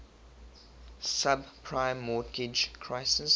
subprime mortgage crisis